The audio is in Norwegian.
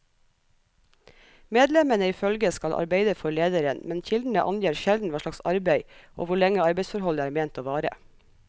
Medlemmene i følget skal arbeide for lederen, men kildene angir sjelden hva slags arbeid og hvor lenge arbeidsforholdet er ment å vare.